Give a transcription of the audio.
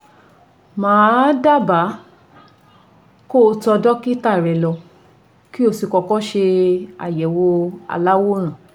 Mà á dábàá kó o tọ dọ́kítà rẹ lọ kí o sì kọ́kọ́ ṣe àyẹ̀wò aláwòrán